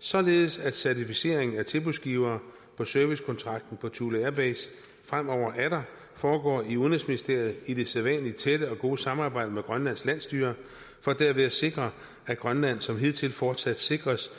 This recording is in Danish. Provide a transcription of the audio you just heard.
således at certificering af tilbudsgivere på servicekontrakten på thule air base fremover atter foregår i udenrigsministeriet i det sædvanlige tætte og gode samarbejde med grønlands landsstyre for derved at sikre at grønland som hidtil fortsat sikres